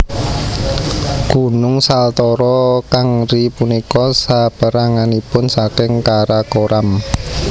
Gunung Saltoro Kangri punika saperanganipun saking Karakoram